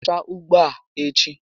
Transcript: Sụchaa ugbo a echi